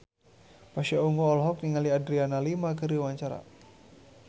Pasha Ungu olohok ningali Adriana Lima keur diwawancara